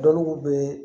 Dɔnku bɛ